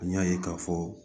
An y'a ye k'a fɔ